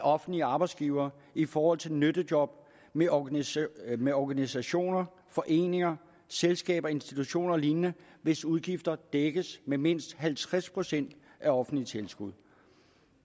offentlige arbejdsgivere i forhold til nyttejob med organisationer med organisationer foreninger selskaber institutioner og lignende hvis udgifter dækkes med mindst halvtreds procent af offentligt tilskud